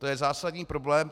To je zásadní problém.